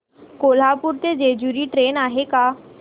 कोल्हापूर ते जेजुरी ट्रेन आहे का